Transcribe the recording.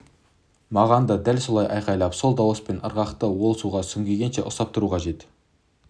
маған да дәл солай айқалап сол дауыс пен ырғақты ол суға сүңгігенше ұстап тұру керек